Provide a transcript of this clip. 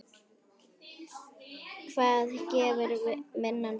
Hvað gefur vinnan þér?